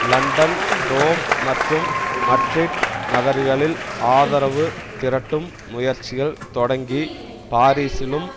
London Rome மற்றும் Madrid நகர்களில் ஆதரவு திரட்டும் முயற்சிகள் தொடங்கி பாரீசிலும்